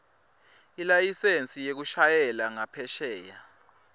ilayisensi yekushayela ngaphesheya